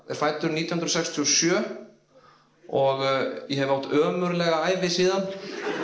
er fæddur nítján hundruð sextíu og sjö og ég hef átt ömurlega ævi síðan